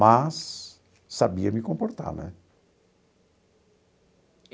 Mas sabia me comportar, né?